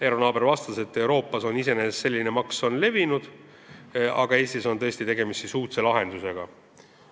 Eero Naaber vastas, et Euroopas on selline maks iseenesest levinud, aga Eestis on tõesti tegemist uudse lahendusega.